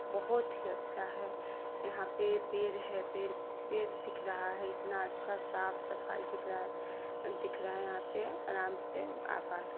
बोहोत ही अच्छा है| यहा पे पेड़ है पे_पेड़ दिख रहा है| इतना अच्छा साफ सफाई दिख रहा है दिख रहा है यहा पे आराम से अप्प या सक--